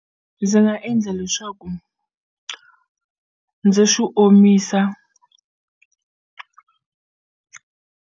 Ndzi nga endla leswaku ndzi swi omisa.